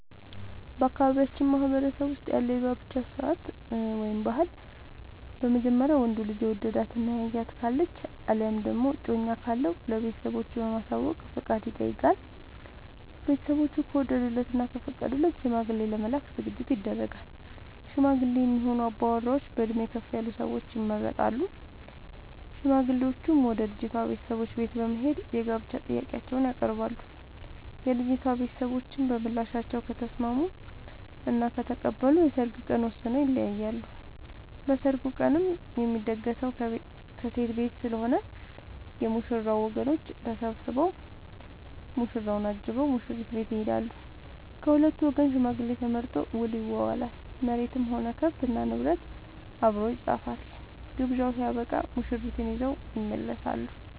በአካባቢያችን ማህበረሰብ ውስጥ ያለው የጋብቻ ስርዓት/ ባህል በመጀመሪያ ወንዱ ልጅ የወደዳት እና ያያት ካለች አለያም ደግሞ እጮኛ ካለው ለቤተሰቦቹ በማሳወቅ ፍቃድ ይጠይቃል። ቤተስቦቹ ከወደዱለት እና ከፈቀዱለት ሽማግሌ ለመላክ ዝግጅት ይደረጋል። ሽማግሌ የሚሆኑ አባወራዎች በእድሜ ከፍ ያሉ ሰዎች ይመረጣሉ። ሽማግሌዎቹም ወደ ልጅቷ ቤተሰቦች በት በመሄድ የጋብቻ ጥያቄአቸውን ያቀርባሉ። የልጂቷ ቤተሰቦችም በምላሻቸው ከተስምስሙ እና ከተቀበሉ የሰርግ ቀን ወስነው ይለያያሉ። በሰርጉ ቀንም የሚደገሰው ከሴት ቤት ስለሆነ የ ሙሽራው ወገኖች ተሰብስቧ ሙሽራውን አጅበው ሙሽሪት ቤት ይሄዳሉ። ከሁለቱም ወገን ሽማግሌ ተመርጦ ውል ይዋዋላሉ መሬትም ሆነ ከብት እና ንብረት አብሮ ይፃፋል። ግብዣው ስበቃም ሙሽርትን ይዘው ይመለሳሉ።